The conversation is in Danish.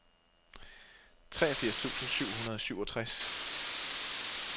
treogfirs tusind syv hundrede og syvogtres